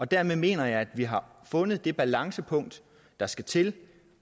dermed mener jeg at vi har fundet det balancepunkt der skal til